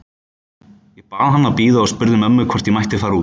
Ég bað hann að bíða og spurði mömmu hvort ég mætti fara út.